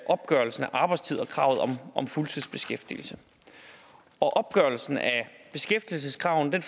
opgørelsen af arbejdstid og kravet om fuldtidsbeskæftigelse opgørelsen af beskæftigelseskravet